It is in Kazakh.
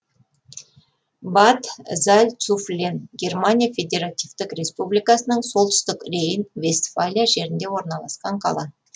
бад зальцуфлен германия федеративтік республикасының солтүстік рейн вестфалия жерінде орналасқан қала